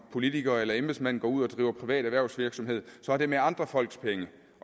politiker eller embedsmand går ud og driver privat erhvervsvirksomhed er med andre folks penge